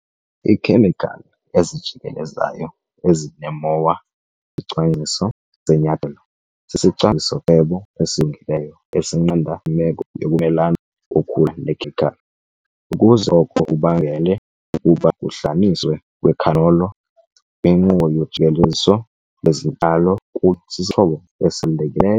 Iikhemikhali ezijikelezayo ezinee-moa isicwangciso senyathelo sisicwangciso-cebo esilungileyo esinqanda imeko yokumelana kokhula nekhemikhali, ukuze oko kubangele ukuba kuhlanganiswe kwecanola kwinkqubo yojikeleziso lwezityalo kube sisixhobo esibalulekileyo.